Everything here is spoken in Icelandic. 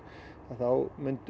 þá